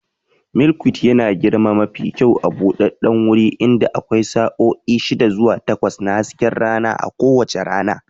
Milkweed yana girma mafi kyau a buɗaɗɗen guri inda akwai sa'o'i shida zuwa takwas na hasken rana a kowace rana.